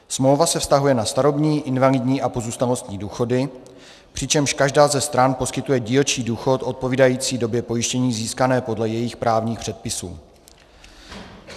Smlouva se vztahuje na starobní, invalidní a pozůstalostní důchody, přičemž každá ze stran poskytuje dílčí důchod odpovídající době pojištění získané podle jejích právních předpisů.